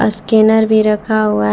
Scanner भी रखा हुआ है।